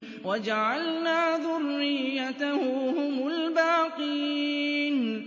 وَجَعَلْنَا ذُرِّيَّتَهُ هُمُ الْبَاقِينَ